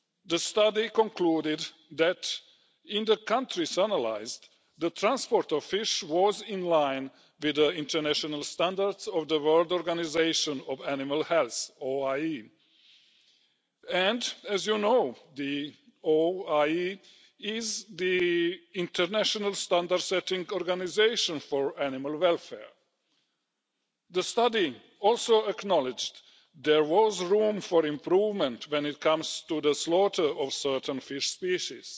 The study concluded that in the countries analysed, the transport of fish was in line with the international standards of the World Organisation for Animal Health and as you know, the OIE is the international standard setting organisation for animal welfare. The study also acknowledged that there was room for improvement when it comes to the slaughter of certain fish species.